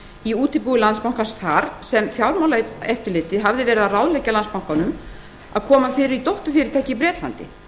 í júní þar sem fjármálaeftirlitið hafði verið að ráðleggja landsbankanum að koma því fyrir í dótturfyrirtæki í bretlandi